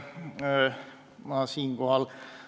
Head kolleegid!